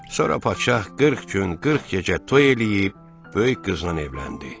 Sonra padşah 40 gün 40 gecə toy eləyib, böyük qıznan evləndi.